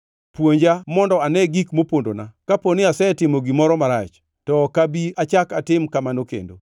Puonja mondo ane gik mopondona; kapo asetimo gimoro marach, to ok abi achak atim kamano kendo!’